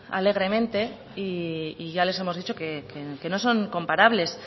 alegremente y ya les hemos dicho que no son comparables